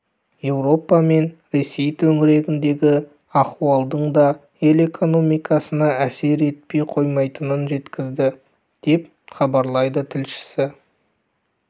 еуропа мен ресей төңірегіндегі аіуалдың да ел экономикасына әсер етпей қоймайтынын жеткізді деп іабарлайды тілшісі